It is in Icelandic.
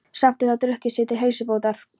Samt er það drukkið sér til heilsubótar.